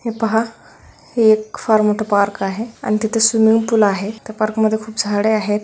हे पहा हे एक फार मोठा पार्क आहे आणि तिथे स्विमिंग पूल आहे त्या पार्क मध्ये खूप झाडे आहेत.